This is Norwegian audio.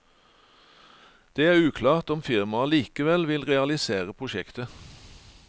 Det er uklart om firmaet likevel vil realisere prosjektet.